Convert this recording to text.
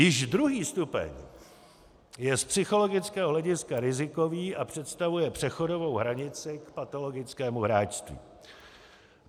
Již druhý stupeň je z psychologického hlediska rizikový a představuje přechodovou hranici k patologickému hráčství.